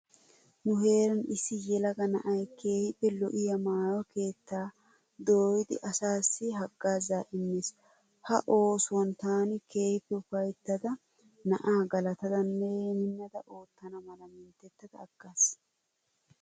Nu heeran issi yelaga na'ayi keehippe lo'iya maayo keettaa dooyidi asaassi haggaazzaa immees. Ha oosuwan taani keehippe ufayittada na'aa galatadanne minnidi oottana mala minttettada aggaas.